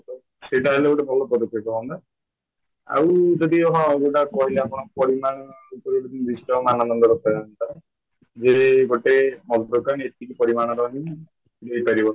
ସେଇଟା ଯଦି ଭଲ ପଦକ୍ଷେପ ହନ୍ତା ଆଉ ଯଦି ହଁ ଯୋଉଟା କହିଲେ ଆପଣ ଭିତରେ disturb ଯେ ଗୋଟେ ମଦ ଦୋକାନୀ ଏତିକି ପରିମାଣରହିଁ ଦେଇପାରିବ